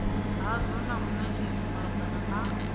hadzo na munetshedzi malugana na